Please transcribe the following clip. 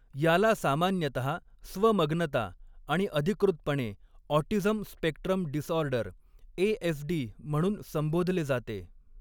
याला सामान्यतहा स्वमग्नता आणि अधिकृतपणे ऑटिझम स्पेक्ट्रम डिसऑर्डर ए.एस.डी. म्हणून संबोधले जाते.